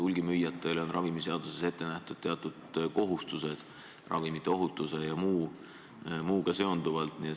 Hulgimüüjatele on ravimiseaduses ette nähtud teatud kohustused ravimite ohutuse ja muuga seonduvalt.